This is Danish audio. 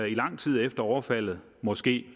i lang tid efter overfaldet måske